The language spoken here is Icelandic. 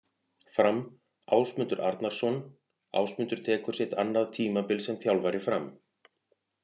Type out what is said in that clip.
Fram- Ásmundur Arnarsson Ásmundur tekur sitt annað tímabil sem þjálfari Fram.